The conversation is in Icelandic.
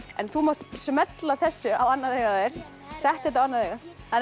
en þú mátt smella þessu á annað augað á þér settu þetta á annað augað